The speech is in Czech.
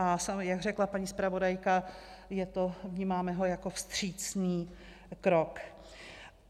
A jak řekla paní zpravodajka, vnímáme ho jako vstřícný krok.